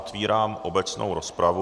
Otvírám obecnou rozpravu.